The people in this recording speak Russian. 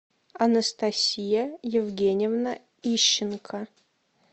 анастасия евгеньевна ищенко